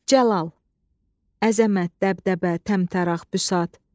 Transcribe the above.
Cəlal, əzəmət, dəbdəbə, təmtəraq, büsat.